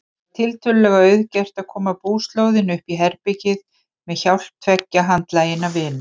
Það var tiltölulega auðgert að koma búslóðinni uppí herbergið með hjálp tveggja handlaginna vina.